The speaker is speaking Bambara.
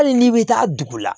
Hali n'i bɛ taa dugu la